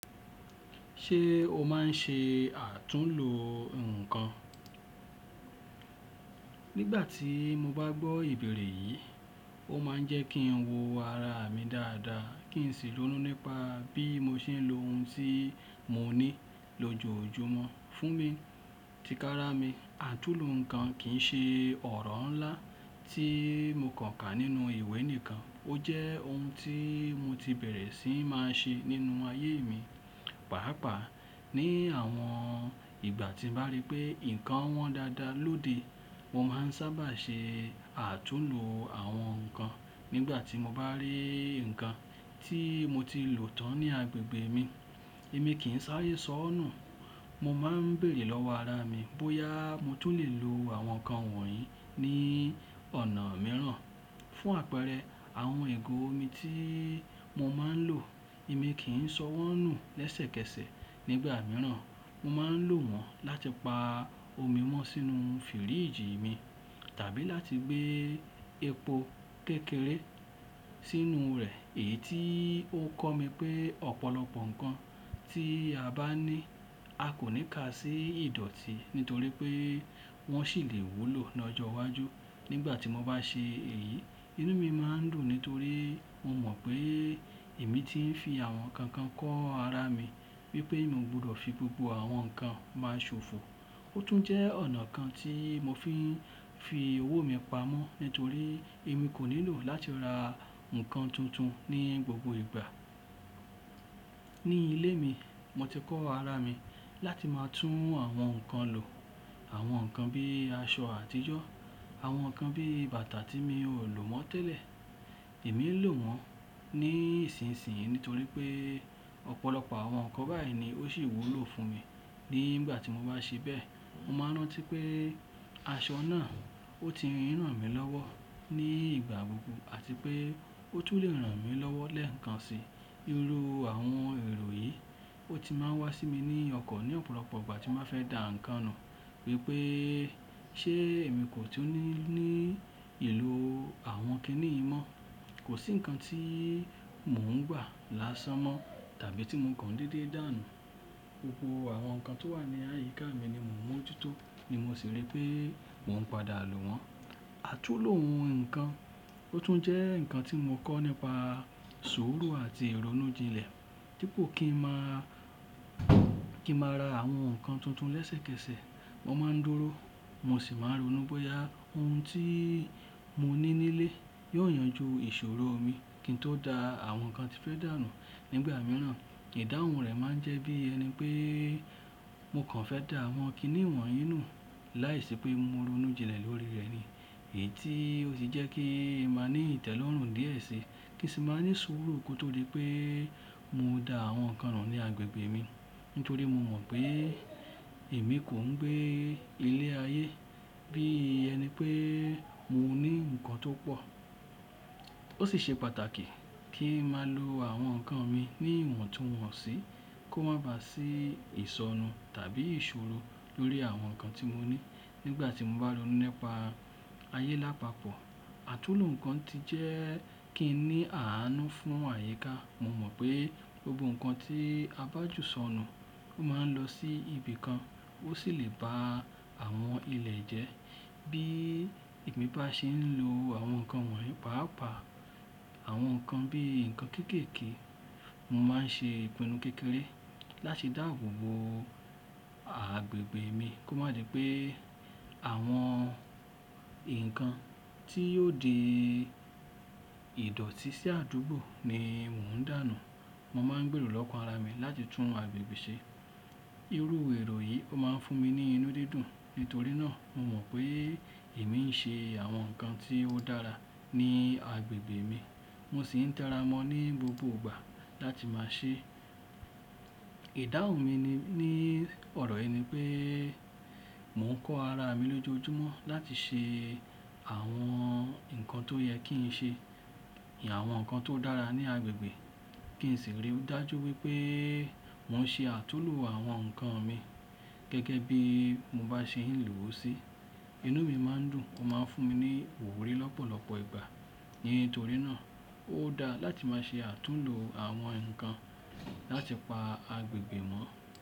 Ṣe o maa n ṣe atunlo nkan? Nígbàtí mo ba gbọ́ ibẹrẹ yìí, o maa n jẹ́ ki n wo ara mi daada, ki n si ronu nípa bi mo ṣe n lo ohun ti mo ni lojoojúmọ́ fún mi ti kara mi. Àtúnlo nkan kii ṣe ọrọ ńlá ti mo kan ka nínú ìwé nìkan. O jẹ́ ohun ti mọ ti bẹrẹ si máa ṣe nínú aye mi. Paapaa ni àwọn ìgbà ti baari pé nkan wọn daada lóde, mo maa n sábà ṣe atunlo àwọn nkan. Nígbàtí mo ba ri nkan ti mo ti lo tan ni agbègbè mi, emi kìí n saare sọnu. Mo maa n beere lọwọ ara mi, bóyá mọ tun lẹ lọ àwọn nkan wọ̀nyí ni ọ̀nà mìíràn fún àpẹẹrẹ àwọn igo omi ti mo maa n lo. Emi kii n sọ wọnú lẹsẹkẹsẹ. Nígbà mìíràn, mo maa n lo wọn láti pa omi mọ sínú firiji mi tàbí láti gbe epo kékeré sínú rẹ. Èyí tii o kọ mi pe ọ̀pọ̀lọpọ̀ nkan ti a ba ni a ko ni ka si idọti nítorí pe wọn ṣi le wúlò ni ọjọ iwájú. Nígbàtí mo ba ṣe èyí, inú mi maa n dùn nítorí mo mọ pe emi ti n fi àwọn nkan kan kọ ara mi wípé mi o gbọdọ fi gbogbo àwọn nkan ma ṣofo. O tun jẹ́ ọ̀nà kan ti mo fi n fi ọwọ mi pa mọ nítorí emi ko nílò láti ra nkan tuntun ni gbogbo ìgbà. Ni ile mi, mo ti kọ ara mi láti ma tun àwọn nkan lo. Àwọn nkan bi aṣọ àtijọ́, àwọn nkan bi bàtà ti mi o lo mọ tẹlẹ, emi n lo wọn ni ìsinsìnyí nítorí pe ọ̀pọ̀lọpọ̀ àwọn nkan bayi ni o si wúlò fún mi. Nígbàtí mo ba ṣe bẹ, mo maa n rántí pé aṣọ náà o ti n rànmi lọ́wọ́ ni ìgbà gbogbo àti pe o tun le ranmi lọwọ lẹẹkansi. Iru àwọn ẹrọ yi, o ti máa n wa si mi ni ọkàn ni ọ̀pọ̀lọpọ̀ ìgbà ti mo fẹ da nkan nu wípé ṣe emi ko tún ni ni ilo àwọn kini yìí mọ́, ko si nkan ti mọ n gba lásán mọ tàbí ti mo kan déédé danu. Gbogbo àwọn nkan to wa ni àyíká mi ni mo n mọjutọ ni mo si ríi pe wọn padà lo wọn. Atunlo ohun nkan o tun jẹ́ nkan ti mo kọ nípa sùúrù àti ironujilẹ. Dipọ kin ma, kin ma ra àwọn nkan tuntun lẹsẹkẹsẹ. Mo maa n dúró, mo si maa n ronú bóyá ohun ti mo ni nilẹ yóò yanjú ìṣòro mi kí n tó dá àwọn nkan tí fẹ́ dà nù. Nígbà mìíràn, ìdáhùn rẹ̀ máa ń jẹ́ bí ẹni pé mo kàn fẹ́ dà àwọn kíní wọ̀nyí nù láìṣe pé mo ronú jinlẹ̀ lórí rẹ̀ ni. Èyí tí ó sì jẹ́ kí ń máa ní ìtẹ́lọ́rùn díẹ̀ si, kí sì máa ní sùúrù kótó dí pé mọ dá àwọn nǹkan nù ní agbègbè mi. Nítorí mọ mọ̀ pé èmi kò ń gbé ilé ayé, bí ẹni pé mo ní nǹkan tó pọ̀. Ó sì ṣe pàtàkì kí ń máa lo àwọn nǹkan mi ní ìwọ̀tunwonsi, kó má baà sí ìsọ́nú tàbí ìṣòro lórí àwọn nǹkan tí mo ní nígbà tí mo bá ronú nípa ayé lápapọ̀. Àtúnlo nǹkan ti jẹ́ kí n ní àánú fún àyíká. Mo mọ̀ pé gbogbo nǹkan tí a bá jù sọnù, ó máa ń lọ sí ibìkan, ó ṣì lè ba àwọn ilẹ̀ jẹ́. Bí èmi bá ṣe ń lo àwọn nǹkan wọ̀nyí pàápàá àwọn nǹkan bíi nǹkan kéékèèké, mo máa ń ṣe ìpinnu kékeré láti dáàbò bo agbègbè mi, kó má jẹ́ pé àwọn nǹkan tí yóò dii ìdọ̀tí sí àdúgbò ni mò ń dànù. Mo máa ń gbèrò lọ́kàn ara mi láti tún agbègbè ṣe. Irú èrò yìí ó máa ń fún mi ní inú dídùn. Nítorí náà, mo mọ̀ pé èmi ń ṣe àwọn nǹkan tí ó dára ní agbègbè mi, mo sì ń tẹra mọ́ ní gbogbo ìgbà láti máa ṣe. Ìdáhùn mi ní ọ̀rọ̀ yìí ni pé mò ń kọ́ ara mi lójoojúmọ́ láti ṣe àwọn nǹkan tó yẹ kí n ṣe, àwọn nǹkan tó dára ní agbègbè kí sì ríi dájú wípé mò ń ṣe àtúnlo àwọn nǹkan mi gẹ́gẹ́ bí mo bá ṣe ń lò sí. Inú mi máa ń dùn, ó máa ń fún mi ní ìwúrí lọ́pọ̀lọpọ̀ ìgbà. Nítorí náà, ó dáa láti máa ṣe àtúnlo àwọn nǹkan láti pa agbègbè mọ́.